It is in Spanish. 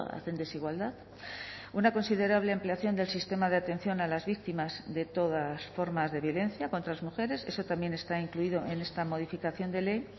hacen desigualdad una considerable ampliación del sistema de atención a las víctimas de todas formas de violencia contra las mujeres eso también está incluido en esta modificación de ley